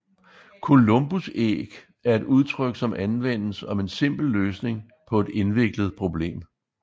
Columbusæg er et udtryk som anvendes om en simpel løsning på et indviklet problem